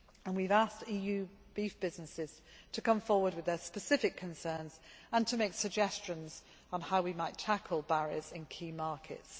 We have asked EU beef businesses to come forward with their specific concerns and to make suggestions on how we might tackle barriers in key markets.